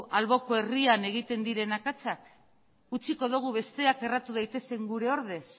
alboko herrian egiten diren akatsak utziko dugu besteak erratu daitezen gure ordez